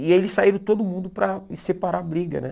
E eles saíram todo mundo para separar a briga né.